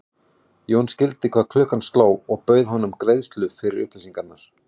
Jón skildi hvað klukkan sló og bauð honum greiðslu fyrir upplýsingar.